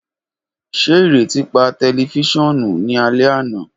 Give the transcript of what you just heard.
Ṣe ireti pa tẹlifisiọnu ni alẹ ana?